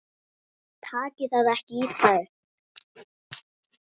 Takið það ekki illa upp.